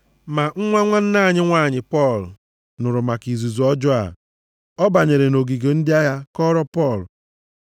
Ma nwa nwanne nwanyị Pọl nụrụ maka izuzu ọjọọ a. Ọ banyere nʼogige ndị agha kọọrọ Pọl.